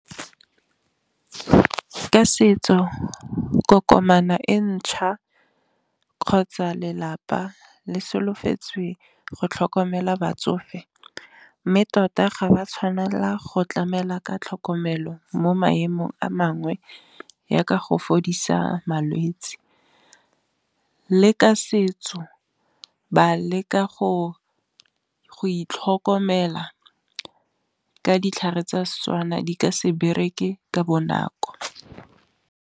Ka setso kokomane e ntšhwa kgotsa lelapa le solofetsweng go tlhokomela batsofe, mme tota ga ba tshwanela go tlamela ka tlhokomelo mo maemong a mangwe ya ka go fodisa malwetsi, le ka setso ba leka go itlhokomela ka ditlhare tsa Setswana di ka se bereke ka bonako.